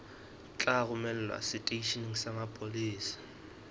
tla romelwa seteisheneng sa mapolesa